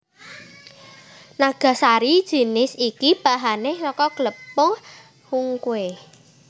Nagasari jinis iki bahané saka glepung hungkwe